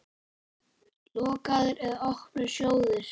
Lokaðir eða opnir sjóðir?